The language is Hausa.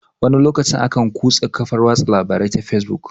Wani lokacin akan kurse kafar watsa labarai ta fesbuk